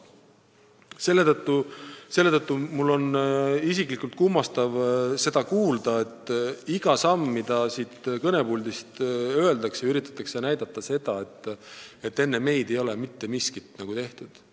Selle tõttu on mul isiklikult kummastav kuulda, et iga sammu puhul, mida siit kõnepuldist öeldakse, üritatakse näidata, et enne meid ei ole nagu mitte miskit tehtud.